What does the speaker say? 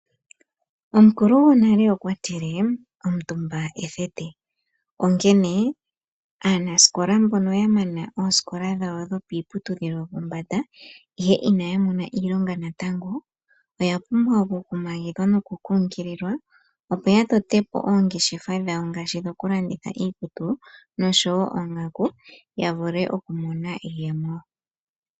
Omukuli gwonale okwa tile:"omutumba ethete". Onkene aanasikola mbono ya mana oosikola dhawo dhopiiputudhilo yopombanda, ihe inaya mona iilonga natango, oya pumbwa okukumagidhwa noku kunkililwa opo ya tote po oongeshefa dhawo ngaashi dhoku landitha iikutu oshowo oongaku ya vule oku mona iiyemo.